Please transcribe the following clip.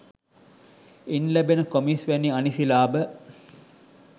ඉන් ලැබෙන කොමිස් වැනි අනිසි ලාභ